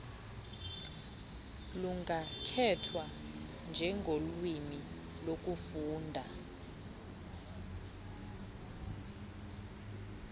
lungakhethwa njengolwimi lokufunda